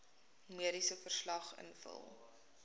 mediese verslag invul